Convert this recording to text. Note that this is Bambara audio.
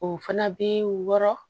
O fana bɛ wɔɔrɔ